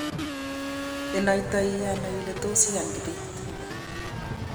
inaitano ile tos iyan Kibet?